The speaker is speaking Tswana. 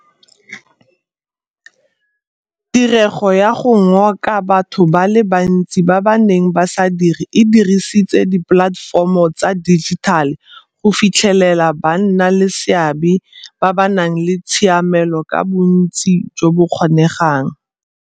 Tirego ya go ngoka batho ba le bantsi ba ba neng ba sa dire e dirisitse dipolatefomo tsa dijitale go fitlhelela bannaleseabe ba ba nang le tshiamelo ka bontsi jo bo kgonegang.